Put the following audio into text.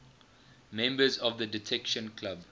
members of the detection club